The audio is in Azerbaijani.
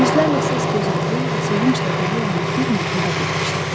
Yüzlərlə səs gözəlliyi və sevinclə dolu olan bir mahnıda birləşirdi.